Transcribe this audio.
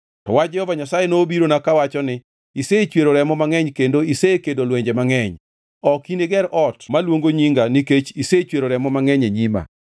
To wach Jehova Nyasaye nobirona kawacho ni, ‘Isechwero remo mangʼeny kendo isekedo lwenje mangʼeny. Ok iniger ot maluongo Nyinga nikech isechwero remo mangʼeny e nyima.